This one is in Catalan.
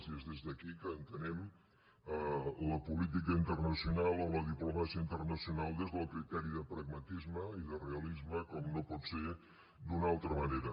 i és des d’aquí que entenem la política internacional o la diplomàcia internacional des del criteri de pragmatisme i de realisme com no pot ser d’una altra manera